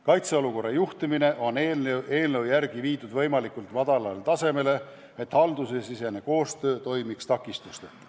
Kaitseolukorra juhtimine on eelnõu järgi viidud võimalikult madalale tasemele, et haldussisene koostöö toimiks takistusteta.